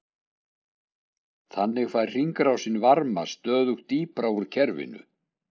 Þannig fær hringrásin varma stöðugt dýpra úr kerfinu.